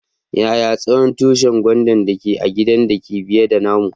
Yaya tsawon tushin gwandan da ke a'gidan da ke biye da namu?